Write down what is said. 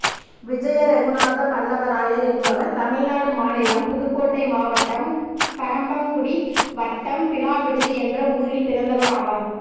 விஜயரெகுநாத பல்லவராயர் என்பவர் தமிழ்நாடு மாநிலம் புதுக்கோட்டை மாவட்டம் கறம்பக்குடி வட்டம் பிலாவிடுதி என்ற ஊரில் பிறந்தவர் ஆவார்